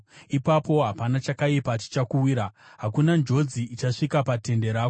ipapo hapana chakaipa chichakuwira, hakuna njodzi ichasvika patende rako.